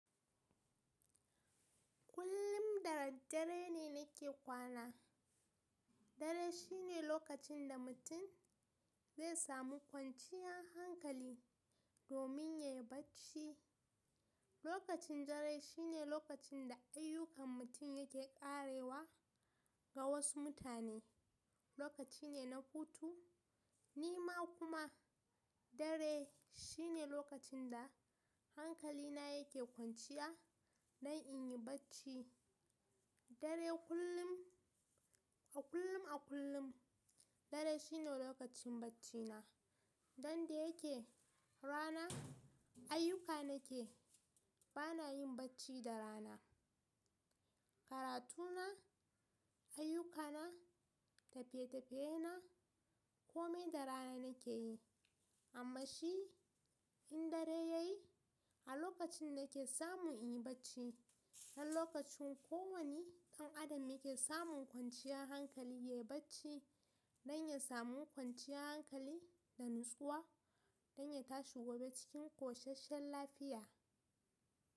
Kullum da daddare ne nake kwana. Dare shine lokacin da mutum zai samu kwanciyan hankali domin ya yi bacci. Lokacin dare shine lokacin da ayyukan mutum yake ƙarewa ga wasu mutane. Lokaci ne na hutu. Ni ma kuma dare shine lokacin da hankali na yake kwanciya don in yi bacci. Dare kullum a kullum a kullum dare shine lokacin bacci na. Dan da yake rana ayyuka nake bana yin bacci da rana. Karatu na, ayyuka na, tafiye-tafiye na kome da rana nake yi. Amman shi in dare ya yi a lokacin nake samu in yi bacci. Dan lokacin kowani ɗan adam yake samun kwanciyan hankali ya yi bacci don ya samu kwanciyan hankali da natsuwa don ya tashi gobe cikin ƙosasshen lafiya.